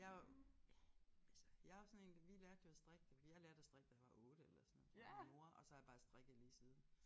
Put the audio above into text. Jeg jo ja altså jeg jo sådan én vi lærte jo at strikke da jeg lærte at strikke da jeg var 8 eller sådan noget af min mor og så har jeg bare strikket lige siden